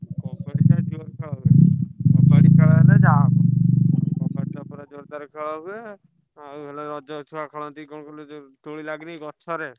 କବାଡିଟା ଜୋରେ ଖେଳ ହୁଏ। କବାଡି ଖେଳ ହେଲେ ଯାହା ହବ କବାଡି ଟା ପୁରା ଜୋରଦାର ଖେଳ ହୁଏ। ଆଉ ହେଲା ରଜ ଛୁଆ ଖେଳନ୍ତି କଣ କହିଲୁ ଯୋଉ ଦୋଳି ଲାଗେନି ଗଛରେ?